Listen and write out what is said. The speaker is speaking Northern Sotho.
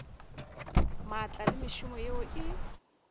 maatla le mešomo yeo e